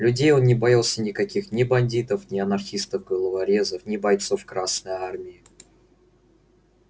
людей он не боялся никаких ни бандитов не анархистов-головорезов ни бойцов красной армии